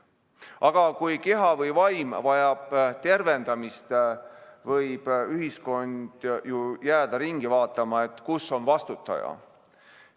Aga kui keha või vaim vajab tervendamist, võib ühiskond ju jääda vaatama, kus on vastutaja.